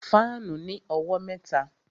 Fáànù ní owó mẹ́ta